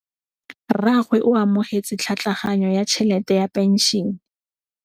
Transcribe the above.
Rragwe o amogetse tlhatlhaganyô ya tšhelête ya phenšene.